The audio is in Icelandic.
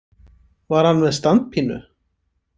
Var hann með standpínu?